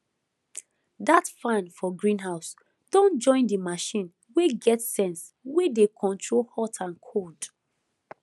that fan for greenhouse don join the machine wey get sense wey dey control hot and cold